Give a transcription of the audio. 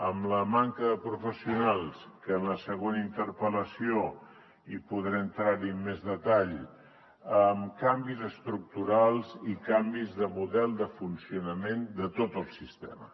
amb la manca de professionals que en la següent interpel·lació hi podrem entrar en més detall amb canvis estructurals i canvis de model de funcionament de tot el sistema